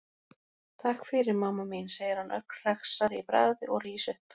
Takk fyrir, mamma mín, segir hann ögn hressari í bragði og rís upp.